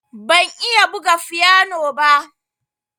Ban iya buga fiyano ba.